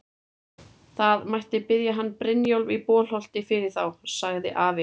Það mætti biðja hann Brynjólf í Bolholti fyrir þá, sagði afi.